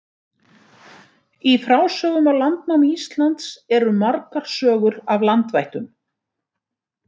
Í frásögnum af landnámi Íslands eru margar sögur af landvættum.